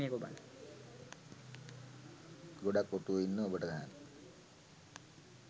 ගොඩක් ඔටුවෝ ඉන්නවා ඔබට ගහන්න